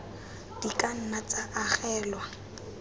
di ka nna tsa agelwa